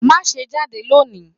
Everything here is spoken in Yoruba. Má ṣé jade lọ ní!